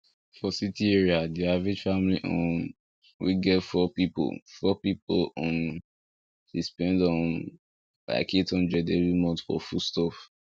for city area the average family um wey get four people four people um dey spend um like eight hundred every month for foodstuff